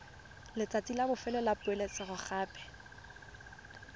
letsatsi la bofelo la poeletsogape